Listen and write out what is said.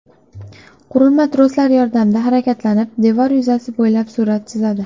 Qurilma troslar yordamida harakatlanib, devor yuzasi bo‘ylab surat chizadi.